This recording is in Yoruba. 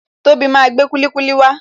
Tobi máa gbé kulikuli wa